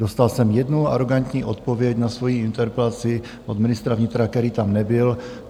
Dostal jsem jednu arogantní odpověď na svoji interpelaci od ministra vnitra, který tam nebyl.